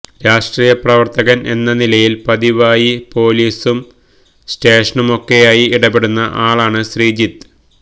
രാഷ്ട്രീയ പ്രവര്ത്തകന് എന്ന നിലയില് പതിവായി പൊലീസും സ്റ്റേഷനുമൊക്കെയായി ഇടപെടുന്ന ആളാണ് ശ്രീജിത്ത്